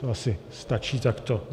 To asi stačí takto.